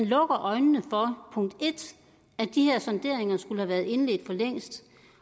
lukker øjnene for at de her sonderinger skulle have været indledt for længst